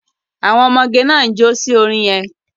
Àwọn ọmọgẹ náà ń jo sí orin yẹn.